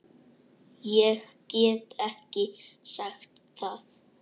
Ég get ekki sagt það.